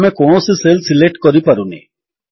ଆମେ କୌଣସି cell select କରିପାରୁନେ160